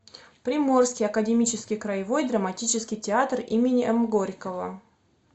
приморский академический краевой драматический театр имени м горького